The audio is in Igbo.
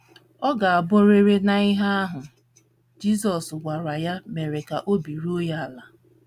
Ọ ga - abụrịrị na ihe ahụ Jizọs gwara ya mere ka obi ruo ya ala!